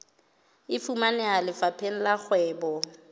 e fumaneha lefapheng la kgwebo